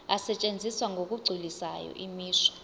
asetshenziswa ngokugculisayo imisho